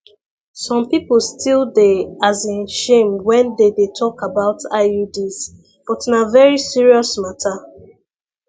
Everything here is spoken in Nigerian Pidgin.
some people still dey as in shame when they dey talk about iuds but na very serious matter